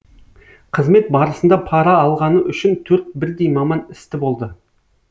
қызмет барысында пара алғаны үшін төрт бірдей маман істі болды